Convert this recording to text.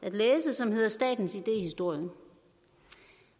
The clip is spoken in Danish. som hedder statens idéhistorie